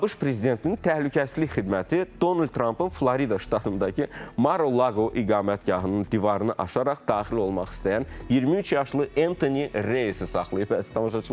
ABŞ prezidentinin təhlükəsizlik xidməti Donald Trampın Florida ştatındakı Mar-a-Laqo iqamətgahının divarını aşaraq daxil olmaq istəyən 23 yaşlı Antoni Reysı saxlayıb, əziz tamaşaçılar.